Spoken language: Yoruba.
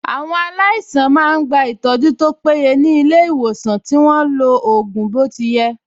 Àwọn ---- máa ń gba ìtọ́jú tó péye ní ilé ìwòsàn tí wọ́n lo ògùn bó ti yẹ